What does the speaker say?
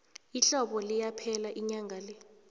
ihlobo liyaphela inyanga le